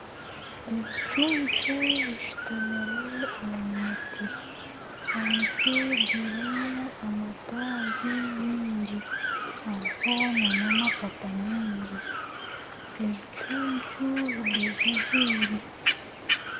Ebicucu bishutamire omu muti, omuti gurimi amataagi mingi hariho nana amapapa mingi, ebicucu bigwejegyeire